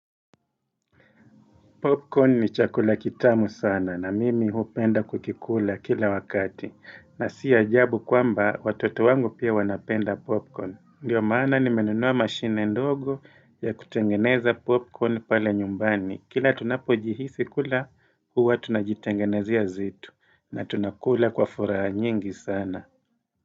Popcorn ni chakula kitamu sana na mimi huu penda kukikula kila wakati na si ajabu kwamba watoto wangu pia wanapenda popcorn. Ndiyo maana nimenunua machine ndogo ya kutengeneza popcorn pale nyumbani. Popcorn ni chakula kitamu sana na mimi huu penda kukikula kila wakati na sii ajabu kwamba watoto wangu pia wanapenda popcorn.